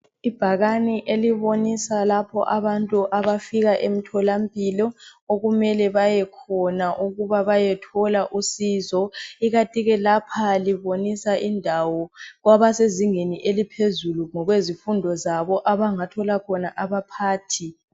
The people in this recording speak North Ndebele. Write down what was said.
Ibhakane elibonisa lapho abantu abafika emtholampilo okumele bayekhona ukuba bayethola usizo. Ikantike lapha libonisa indawo kwabasezingeni eliphezulu ngokwezifundo zabo abangathola khona abaphathi.